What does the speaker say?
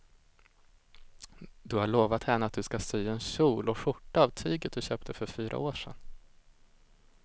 Du har lovat henne att du ska sy en kjol och skjorta av tyget du köpte för fyra år sedan.